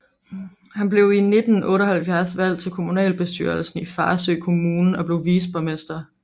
Han blev i 1978 valgt til kommunalbestyrelsen i Farsø Kommune og blev viceborgmester